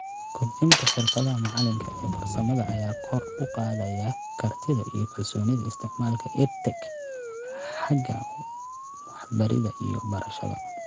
Kobcinta xirfada macalinka ee farsamada ayaa kor u qaadaysa kartida iyo kalsoonida isticmaalka EdTech xagga waxbarida iyo barashada .